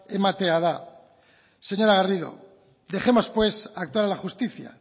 ematea da señora garrido dejemos pues actuar a la justicia